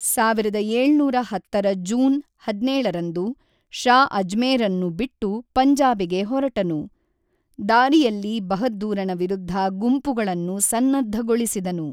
ಸಾವಿರದ ಏಳುನೂರ ಹತ್ತರ ಜೂನ್ ಹದಿನೇಳರಂದು ಷಾ ಅಜ್ಮೇರನ್ನು ಬಿಟ್ಟು ಪಂಜಾಬಿಗೆ ಹೊರಟನು, ದಾರಿಯಲ್ಲಿ ಬಹದ್ದೂರನ ವಿರುದ್ಧ ಗುಂಪುಗಳನ್ನು ಸನ್ನದ್ಧಗೊಳಿಸಿದನು